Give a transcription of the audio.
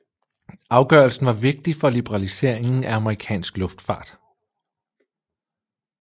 Afgørelsen var vigtig for liberaliseringen af amerikansk luftfart